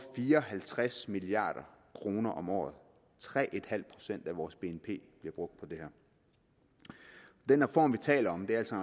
fire og halvtreds milliard kroner om året tre procent af vores bnp der brugt på det her den reform vi taler om er altså